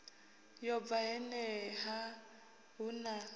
yo bva honeha hu na